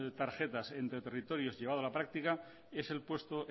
tarjetas entre territorios llevados a la práctica es el puesto